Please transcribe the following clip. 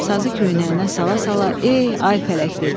Sazı köynəyinə sala-sala "Ey, ay fələk" dedi.